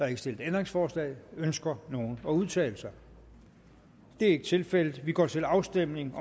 ikke stillet ændringsforslag ønsker nogen at udtale sig det er ikke tilfældet vi går til afstemning